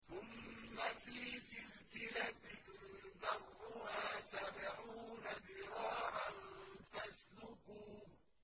ثُمَّ فِي سِلْسِلَةٍ ذَرْعُهَا سَبْعُونَ ذِرَاعًا فَاسْلُكُوهُ